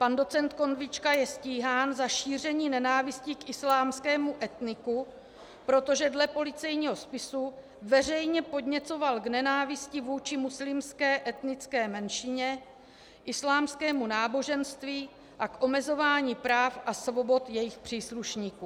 Pan doc. Konvička je stíhán za šíření nenávisti k islámskému etniku, protože dle policejního spisu veřejně podněcoval k nenávisti vůči muslimské etnické menšině, islámskému náboženství a k omezování práv a svobod jejich příslušníků.